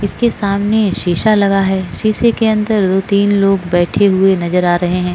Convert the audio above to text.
इसके सामने शीसा लगा है सीसे के अंदर दो तीन लोग बैठे हुए नज़र आ रहे है।